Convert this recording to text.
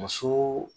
Muso